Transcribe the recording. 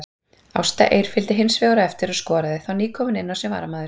Ásta Eir fylgdi hinsvegar á eftir og skoraði, þá nýkomin inná sem varamaður.